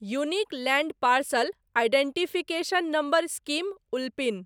unique land parcel identification number scheme ULPIN